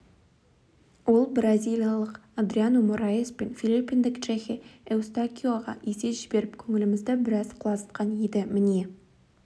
ол бразилиялық адриано мораес пен филиппиндік джехе эустакиоға есе жіберіп көңілімізді біраз құлазытқан еді міне